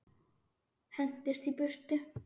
Hendist í burtu.